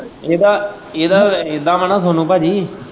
ਇਹਦਾ, ਇਹਦਾ ਇੱਦਾ ਵਾ ਨਾ ਸੋਨੂੰ ਭਾਜੀ।